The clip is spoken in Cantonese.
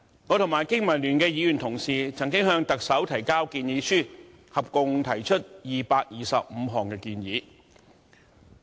我和香港經濟民生聯盟議員同事曾經向特首提交建議書，合共提出225項建議。